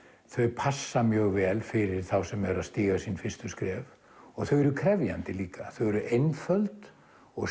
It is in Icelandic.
þau passa mjög vel fyrir þá sem eru að stíga sín fyrstu skref og þau eru krefjandi líka þau eru einföld og